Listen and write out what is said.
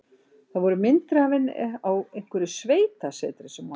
Það voru myndir af henni á einhverju sveitasetri sem hún á.